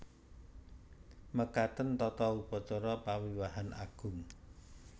Mekaten tata upacara pawiwahan agung